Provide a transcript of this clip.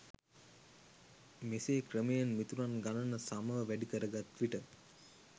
මෙසේ ක්‍රමයෙන් මිතුරන් ගණන සමව වැඩිකර ගත්විට